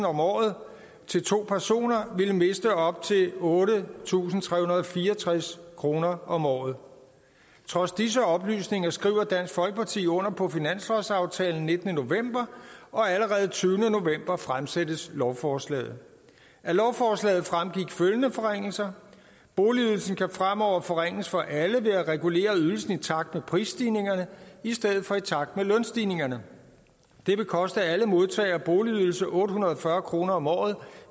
om året til to personer vil miste op til otte tusind tre hundrede og fire og tres kroner om året trods disse oplysninger skriver dansk folkeparti under på finanslovsaftalen den nittende november og allerede den tyvende november fremsættes lovforslaget af lovforslaget fremgik følgende forringelser boligydelsen kan fremover forringes for alle ved at regulere ydelsen i takt med prisstigningerne i stedet for i takt med lønstigningerne det vil koste alle modtagere af boligydelse otte hundrede og fyrre kroner om året